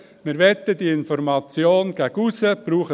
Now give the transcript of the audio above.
Wir möchten, dass die Information gegen aussen geht: